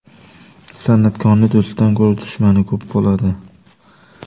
San’atkorning do‘stidan ko‘ra dushmani ko‘p bo‘ladi.